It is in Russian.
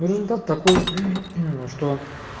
результат такой что